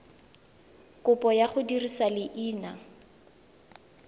kopo ya go dirisa leina